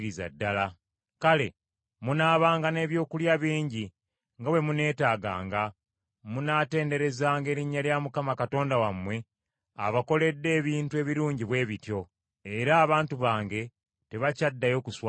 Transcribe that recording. Kale, munaabanga n’ebyokulya bingi nga bwe muneetaaganga. Munaatenderezanga erinnya lya Mukama Katonda wammwe abakoledde ebintu ebirungi bwe bityo. Era abantu bange tebakyaddayo kuswazibwa.